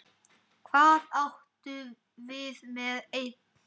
Hvað áttu við með einn?